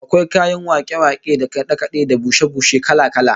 Akwai kayan wake-wake da kade-kade da bushe-bushe kala-kala